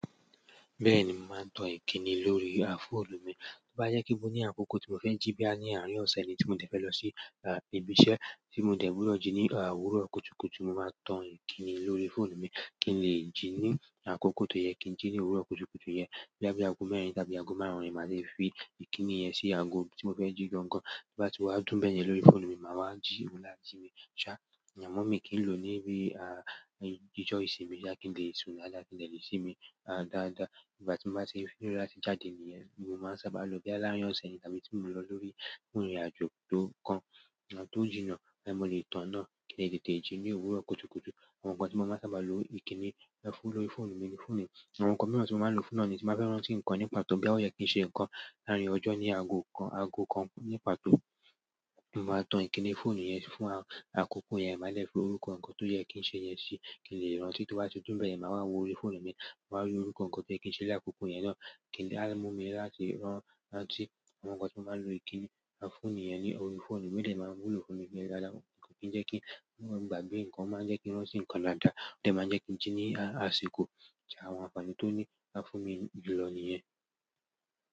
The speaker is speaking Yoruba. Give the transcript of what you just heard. Bẹ́ẹ̀ni, mo màá n to ìkíni lórí áfóòlù mi. Tó bá yẹ kí mo ní àkókò tí mo fẹ́ jí boya ní àárín ọ̀sẹ̀ ni tí mo dẹ̀ fẹ́ lọ sí ibi iṣẹ́ tí mo dẹ̀ gbúdọ̀ jí ní òwúrọ̀ kùtùkùtù, mo máa tan ìkìni lórí fóònù mi kí n lè jí ní àkókò tó yẹ kí n jí ní òwúrọ̀ kùtùkùtù yẹn. Boya bi àgó mẹ́rin tàbí àgó márùn-ún ni màá de fi ìkìni yẹn sí àgó tí mo fẹ́ jí gangan. Bo bá ti wá dún bẹ̀yẹn lórí fóònù mi, màá wá jí ohun ni a ji mi ṣá. Ìyẹn mummy kì í lò ó ní bí ijó ìsinmi boya kí n lè sún dáadáa ki i de lè sinmi dáadáa. Igbá tí mo bá ti nílò láti jáde ní yẹn ni mo máa sábà lọ boya ni larin ose ni tàbí tí mo lọ lórí ìrìnàjò to jínà, mo lè tán náà kí n lè tètè jí ní òwúrọ̀ kùtùkùtù. Àwọn nǹkan tí mo máa sábà lo ìkíni fún lórí fóònù mi ni fún niyii. Àwọn nǹkan mìíràn tí mo máa ń lo fún náà ni tí báa fẹ́ rán tí nǹkan ní pàtó boya o yẹ kí n sẹ nǹkan láàárín ọjọ́ ní àgó kan, àgó kan ní pàtó. Mo máa tan ìkìni fóònù yẹn fún àkókò yẹn, màá dè fi orúkọ nǹkan tó yẹ kí n ṣe yẹn sí i kí n lè rántí. Tó bá ti dún bẹ̀yẹn, màá wá wo orí fóònù mi, màá rí orúkọ nǹkan tó yẹ kí n ṣe ní àkókò yẹn náà á mú mi láti rántí àwọn nǹkan tí mo máa ń lo ìkíni fún nìyẹn ní orí fóònù mi. Ó dẹ̀ máa wúlò fún mi gan dáadáa. Ko kì í jẹ́ kí i gbàgbé nǹkan o máa jẹ́ kí n rántí nǹkan daadàá. Ó dẹ̀ máa jẹ́ kí n jí ní àsìkò tí àwọn àǹfààní tó ní fún mi julọ nìyẹn.